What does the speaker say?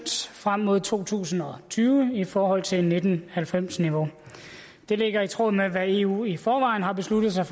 frem mod to tusind og tyve i forhold til nitten halvfems niveau det ligger i tråd med hvad eu i forvejen har besluttet sig